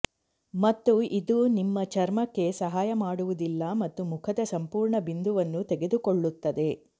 ಮತ್ತು ಇದು ನಿಮ್ಮ ಚರ್ಮಕ್ಕೆ ಸಹಾಯ ಮಾಡುವುದಿಲ್ಲ ಮತ್ತು ಮುಖದ ಸಂಪೂರ್ಣ ಬಿಂದುವನ್ನು ತೆಗೆದುಕೊಳ್ಳುತ್ತದೆ